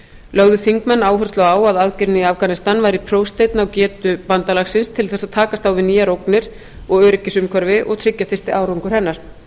lögðu þingmenn áherslu á að aðgerðin í afganistan væri prófsteinn á getu bandalagsins til þess að takast á við nýjar ógnir og öryggisumhverfi og að tryggja þyrfti árangur hennar